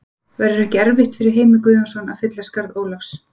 Verður ekki erfitt fyrir Heimi Guðjónsson að fylla skarð Ólafs?